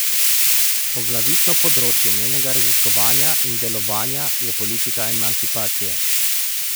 Poglavitno področje njenega raziskovanja in delovanja je politika emancipacije.